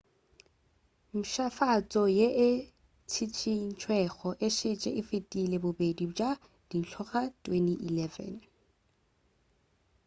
mpšhafatšo ye e tšhišintšwego e šetše e fetile bodedi bja dintlo ka 2011